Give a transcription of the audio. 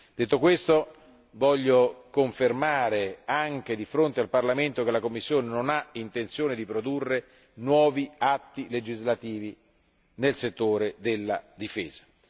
Detto questo, desidero confermare di fronte al Parlamento che la Commissione non ha intenzione di produrre nuovi atti legislativi nel settore della difesa.